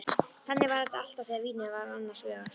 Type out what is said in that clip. Þannig er þetta alltaf þegar vínið er annars vegar.